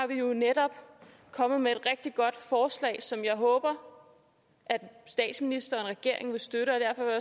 vi netop kommet med et rigtig godt forslag som jeg håber statsministeren og regeringen vil støtte og derfor vil